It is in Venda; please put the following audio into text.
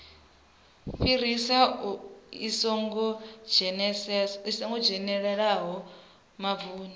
fhirisa i songo dzhenelelesaho mavuni